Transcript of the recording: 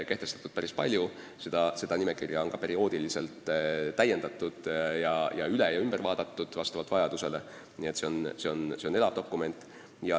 Seda nimekirja on vastavalt vajadusele perioodiliselt üle vaadatud ja täiendatud, nii et see on elav dokument.